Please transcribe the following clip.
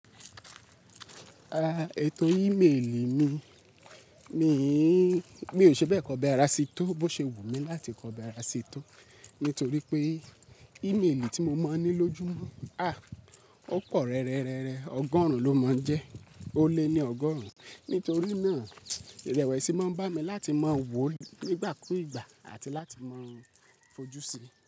Ah, ètò ímélì mi, mi n, mí ò ṣe bẹ́ẹ̀ kò bẹ ara sí tó bó ṣe wù mí láti kò bẹ ara sí tó, nítorí pé ímélì tí mo máa ń ní lójúmọ́, ah, ó pọ̀ rẹ́rẹ́rẹ́rẹ́, ọgọ́rùn ló máa ń jẹ́, ó lé ní ọgọ́rùn. Nítorí náà, ìrẹ̀wẹ̀sì máa ń bá mi láti máa wò ó nígbà kúù ígbà àti láti máa fojú sí i.